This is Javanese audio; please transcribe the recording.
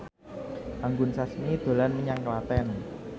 Anggun Sasmi dolan menyang Klaten